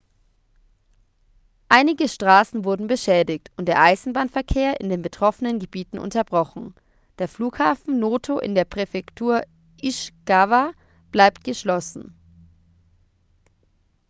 einige straßen wurden beschädigt und der eisenbahnverkehr in den betroffenen gebieten unterbrochen der flughafen noto in der präfektur ishikawa bleibt geschlossen